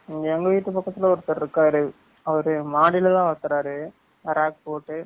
இங்க எங்க வீட்டு பக்கதுல ஒருதர் இருக்கரு அவரு மாடில தான் வலதுராரு பரக் போட்டு